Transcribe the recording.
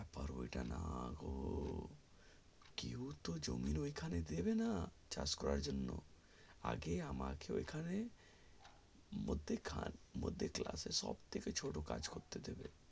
না ওটা না গো কেওই তো জমি ঐখানে দেবে না চাষ করার জন্য আগে আমাকে ঐখানে মধ্যে খানে মধ্যে class এ সব থেকে ছোট কাজ করতে যেতে